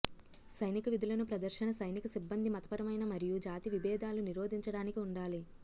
సైనిక విధులను ప్రదర్శన సైనిక సిబ్బంది మతపరమైన మరియు జాతి విభేదాలు నిరోధించడానికి ఉండాలి